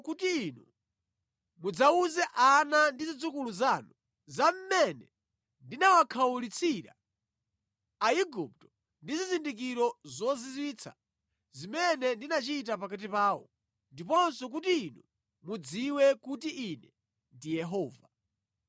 kuti inu mudzawuze ana ndi zidzukulu zanu za mmene ndinawakhawulitsira Aigupto ndi zizindikiro zozizwitsa zimene ndinachita pakati pawo ndiponso kuti inu mudziwe kuti ine ndine Yehova.”